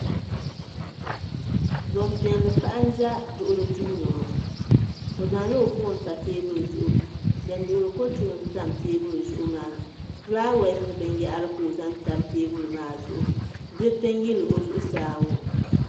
Gbanpiɛlli paɣa n ʒɛ duɣuli duu ni ŋo o zaŋla o foon n pa teebuli zuɣu din duɣuri ko tulim tam teebuli zuɣu maa fulaawaasi ni binyahari ka o zaŋ tam teebuli maa zuɣu diriti n yili o zuɣu saa ŋo